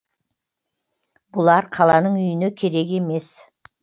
бұлар қаланың үйіне керек емес